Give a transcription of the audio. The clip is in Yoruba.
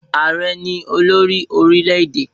Ààrẹ ni olórí orílẹ̀-èdè.